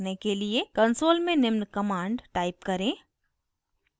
console में निम्न command type करें